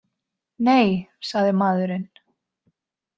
Nei, sagði maðurinn.